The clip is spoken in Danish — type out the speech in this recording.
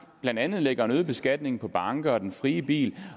blandt andet lægger en øget beskatning på banker og den frie bil